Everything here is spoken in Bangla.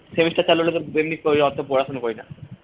semester চালু হলে তো এমনি অতো কই পড়াশোনা করি না